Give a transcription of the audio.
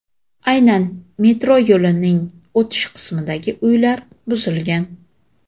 Aynan metro yo‘lining o‘tish qismidagi uylar buzilgan.